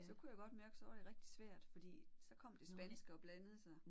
Så kunne jeg godt mærke så var det rigtig svært fordi så kom det spanske og blandede sig